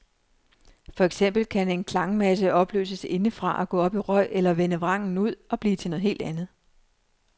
For eksempel kan en klangmasse opløses indefra og gå op i røg eller vende vrangen ud og blive til noget helt andet.